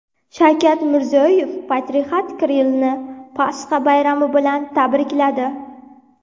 Shavkat Mirziyoyev Patriarx Kirillni Pasxa bayrami bilan tabrikladi.